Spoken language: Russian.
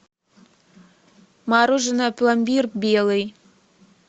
мороженое пломбир белый